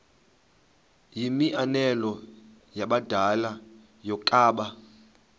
yimianelo yabadala yokaba